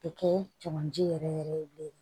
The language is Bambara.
Bɛ kɛ tolanci yɛrɛ yɛrɛ ye bilen